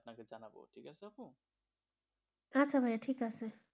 আচ্ছা ভাই ঠিক আছে,